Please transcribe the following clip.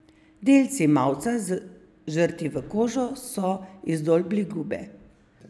Delci mavca, zažrti v kožo, so izdolbli gube.